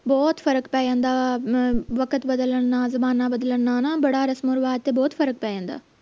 ਬਹੁਤ ਫਰਕ ਪੈ ਜਾਂਦਾ ਵਾ ਅਮ ਵਕਤ ਬਦਲਣ ਨਾਲ ਜਮਾਨਾ ਬਦਲਣ ਨਾਲ ਨਾ ਹਣਾ ਬੜਾ ਰਸਮੋਂ ਰਿਵਾਜ ਤੇ ਬਹੁਤ ਫਰਕ ਪੈ ਜਾਂਦਾ